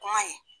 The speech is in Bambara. Kuma in